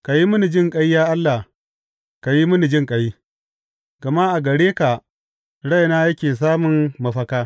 Ka yi mini jinƙai, ya Allah, ka yi mini jinƙai, gama a gare ka raina yake samun mafaka.